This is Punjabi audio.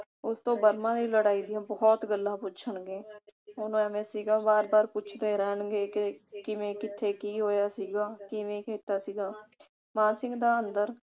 ਉਸਤੋਂ ਬਰਮਾ ਦੀ ਲੜਾਈ ਦੀਆਂ ਬਹੁਤ ਗੱਲਾਂ ਪੁੱਛਣਗੇ। ਉਸ ਨੂੰ ਬਾਰ ਬਾਰ ਪੁੱਛਦੇ ਰਹਿਣਗੇ ਕਿ ਕਿਵੇਂ ਕਿਥੇ ਕੀ ਹੋਇਆ ਸੀਗਾ। ਕਿਵੇਂ ਕੀਤਾ ਸੀਗਾ। ਮਾਨ ਸਿੰਘ ਦਾ ਅੰਦਰ